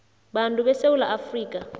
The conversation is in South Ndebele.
bantu besewula afrika